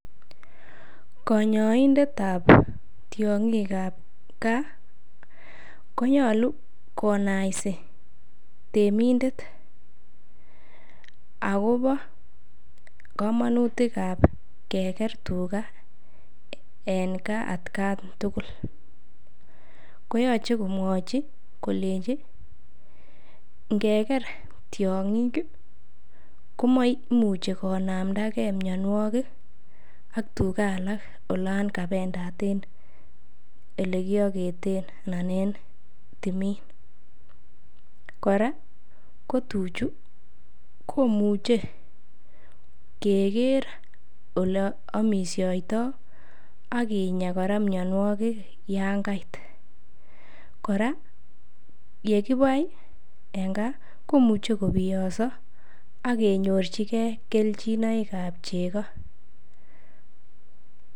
Kanyaindetab tiongikab gaa koyocvhe konaisi temindet akobo kamonutikab keker tugaa en gaa atkan tugul koyoche komwachi kolenjin ngeker tiongik komoimuch konamdage mianwogik ak tugaa alak olon kabendaten elekioketen anan en timin kora ko tuchu komuche keker oleamishoitoo akinyaa kora mianwogik yangait, kora yekibai en gaa komuchi kobiyos akenyorchigee kelchinoikab cheko.